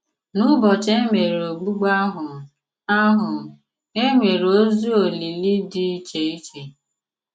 N'ụ̀bọchị e mèré ògbùgbù àhụ, àhụ, e nwere òzì olìlì dị iche iche.